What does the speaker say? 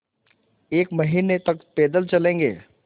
एक महीने तक पैदल चलेंगे